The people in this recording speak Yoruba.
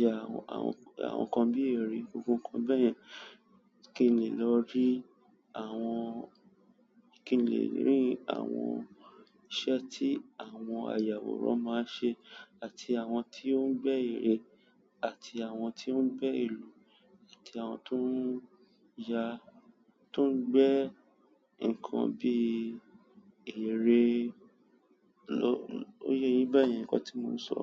ya àwọn nkan bi ere, gbogbo nkan bayen. Kí n lè lọ rí kin le ri àwọn iṣẹ́ ti àwọn ayaworan ma n se àti àwọn ti o ngbe ere, at àwọn ti o ngbe ìlú, àti àwọn ti o ngbe ǹkan bí ère lọ-- ó yẹ yín bayẹn nkan tí mò sọ.